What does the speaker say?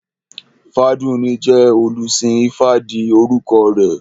Ifádùúní jẹ́ olùsìn ifá ìdí orúkọ rẹ̀